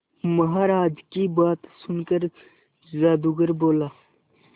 महाराज की बात सुनकर जादूगर बोला